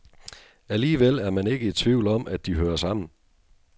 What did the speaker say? Alligevel er man ikke i tvivl om, at de hører sammen.